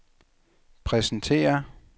præsenterer